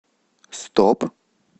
стоп